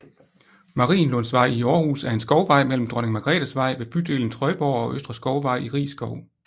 Marienlundsvej i Aarhus er en skovvej mellem Dronning Margrethes Vej ved bydelen Trøjborg og Østre Skovvej i Riis Skov